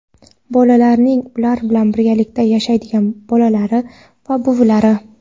bolalarning ular bilan birgalikda yashaydigan bobolari va buvilari;.